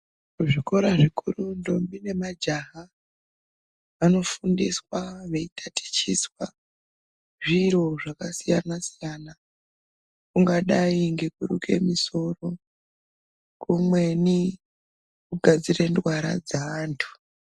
Kuzvikora zvikuru ntombi nemajaha vanofundiswa veitatichiswa zviro zvakasiyana siyana kungayi ngekuruke misoro kumweni kugadzire ndwara dzaantu .